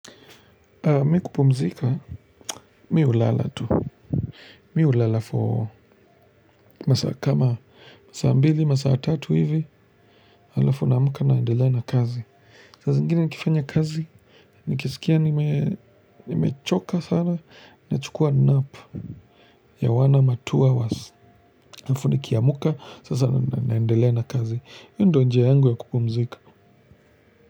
Mi kupumzika, mi hulala tu. Mi hulala for masaa kama masaa mbili, masaa tatu hivi, alafu naamka na endelea na kazi. Saa zingine nikifanya kazi, nikisikia nimechoka sana, nachukua napu. Ya one ama two hours halafu nikiamka, sasa naendelea na kazi. Hio ndo njia yangu ya kupumzika.